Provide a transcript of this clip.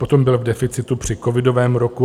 Potom byl v deficitu při covidovém roku.